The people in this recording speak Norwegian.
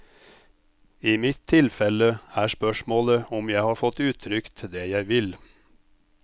I mitt tilfelle er spørsmålet om jeg har fått uttrykt det jeg vil.